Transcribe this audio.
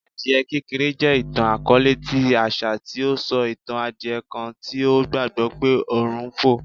Adie kekere jẹ itan-akọọlẹ ti aṣa ti o sọ itan adie kan ti o gbagbọ pe ọrun n fo